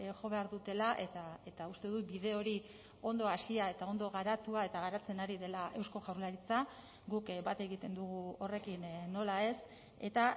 jo behar dutela eta uste dut bide hori ondo hasia eta ondo garatua eta garatzen ari dela eusko jaurlaritza guk bat egiten dugu horrekin nola ez eta